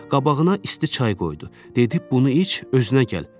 Qabağına isti çay qoydu, dedi bunu iç, özünə gəl.